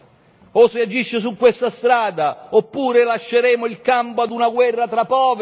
O si agisce su questa strada, oppure lasceremo il campo a una guerra tra poveri.